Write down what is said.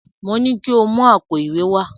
Mo ní ko mú àpò ìwé wá!